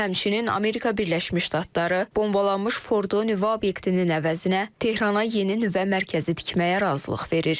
Həmçinin, Amerika Birləşmiş Ştatları, bombalanmış Ford nüvə obyektinin əvəzinə Tehrana yeni nüvə mərkəzi tikməyə razılıq verir.